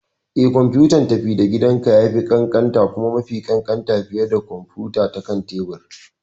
Eh, kwamfutar tafi-da-gidanka ya fi ƙanƙanta kuma mafi ƙanƙanta fiye da kwamfuta ta kan tebur.